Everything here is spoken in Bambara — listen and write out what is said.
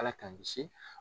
Ala ka n kisi